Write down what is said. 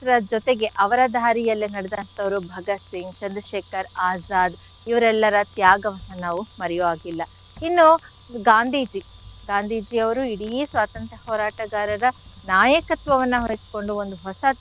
ಜೊತೆಗೆ ಅವರ ದಾರಿಯಲ್ಲೇ ನಡೆದಂಥವರು ಭಗತ್ ಸಿಂಗ್ ಚಂದ್ರಶೇಖರ್ ಆಜಾದ್ ಇವ್ರೆಲ್ಲರ ತ್ಯಾಗವನ್ನು ನಾವು ಮರೆಯೊ ಹಾಗಿಲ್ಲ ಇನ್ನು ಗಾಂಧೀಜಿ, ಗಾಂಧೀಜಿ ಅವರು ಇಡೀ ಸ್ವಾತಂತ್ರ್ಯ ಹೋರಾಟಗಾರರ ನಾಯಕತ್ವವನ್ನು ವಹಿಸ್ಕೊಂಡು ಒಂದು ಹೊಸ,